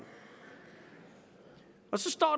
så står